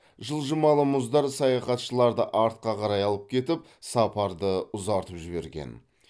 жылжымалы мұздар саяхатшыларды артқа қарай алып кетіп сапарды ұзартып жіберген